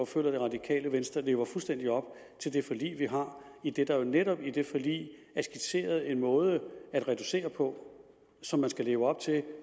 føler at det radikale venstre lever fuldstændig op til det forlig vi har idet der jo netop i det forlig er skitseret en måde at reducere på som man skal leve op til